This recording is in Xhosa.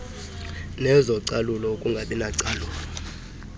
nezocalulo ukungabi nacalulo